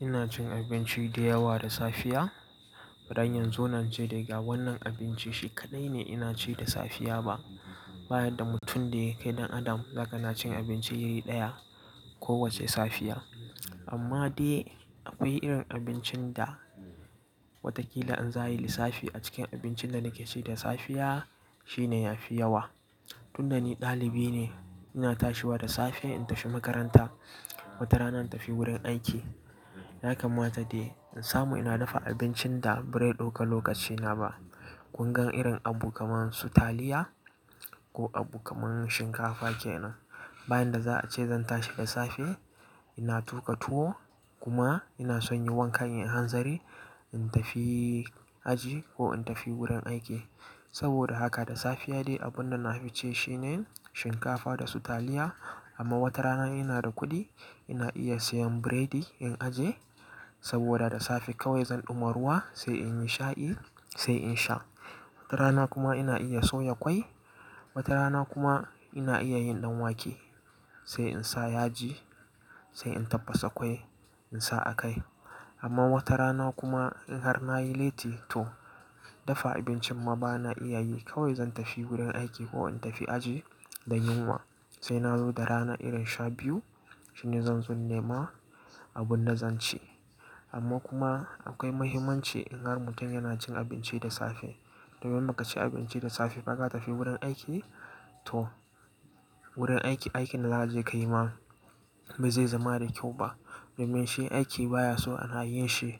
Ina cin abinci dayawa da safiya? Bazan iya in zauna ince dai ga wannan abinci shi kaɗai ne ina ci da safiya ba. Bayan da mutum da yake dan adam, zakana cin abinci iri ɗaya ko wacce safiya. Amma dai akwai irin abincin da watakila in za ayi lissafi a cikin abincin da nake ci da safiya shine ya fi yawa. Tunda ni ɗalibi ne, ina tashiwa da safe in tafi makaranta. Wata rana in tafi wurin aiki. Naka mata dai in samu ina dafa abincin da birai ɗauka lokacina ba. Kungan irin abu kaman su taliya ko abu kaman shinkafa kenan. Bayan da za a ce zan tashi da safe, ina tuƙa tuwo kuma ina son yi wankan in hanzari in tafi aji ko in tafi wurin aiki. Saboda haka da safiya dai abun da na fi ci shine shinkafa da su taliya. Amma wata rana ina da kuɗi, ina iya siyan biredi in aje. Saboda da safe kawai zan ɗuma ruwa sai in yi sha'i sai in sha. Wata rana kuma ina iya soya ƙwai. Wata rana kuma ina iya yin ɗanwake sai in sa yaji, sai in tabbasa ƙwai in sa a kai. Amma wata rana kuma in har nayi lati to dafa abincin ma bana iya yi. Kawai zan tafi wurin aiki ko in tafi aji da yunwa. Sai na zo da rana irin sha biyu shine zan zo nema abun da zan ci. Amma kuma akwai mahimmanci in har mutum yana cin abinci da safe. Domin maka ci abinci da safe faka tafi wurin aiki to wurin aiki, aikin da za a je kai ma ba zai zama da kyau ba. Domin shi aiki baya so ana yin shi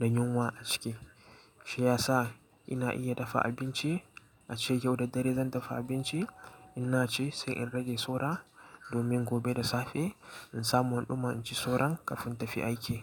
da yunwa a ciki. Shi ya sa ina iya dafa abinci, a ce yau da dare zan dafa abinci, ina ci sai in rage saura domin gobe da safe in samu an ɗuma inci sauran kafin in tafi aiki.